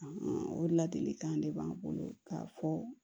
o ladilikan de b'an bolo k'a fɔ